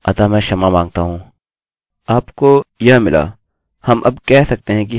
आपको यह मिला हम अब कह सकते हैं कि हमें हमारी विशिष्ट एररerror मिल गयी है ठीक है